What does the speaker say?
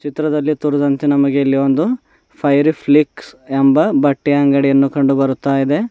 ಚಿತ್ರದಲ್ಲಿ ತೋರಿಸಿದಂತೆ ನಮಗೆ ಇಲ್ಲಿ ಒಂದು ಫೈರಿ ಫ್ಲಿಕ್ಸ್ ಎಂಬ ಬಟ್ಟೆ ಅಂಗಡಿಯನ್ನು ಕಂಡು ಬರುತ್ತಾಯಿದೆ.